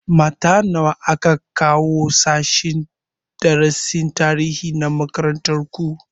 Mata nawa aka ƙara kawowa sashen darasin tarihi na makarantar ku?